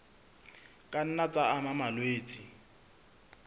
ka nna tsa ama malwetse